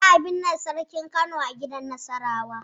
Za'a binne sarkin Kano a gidan Nasarawa.